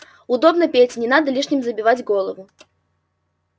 удобно пете не надо лишним забивать голову